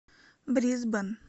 брисбен